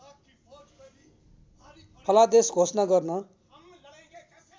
फलादेश घोषणा गर्न